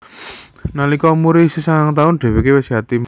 Nalika umure isih sangang taun dheweke wis yatim